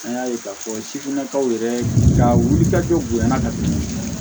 An y'a ye k'a fɔ sifinnakaw yɛrɛ ka wulikajɔ bonyana ka tɛmɛ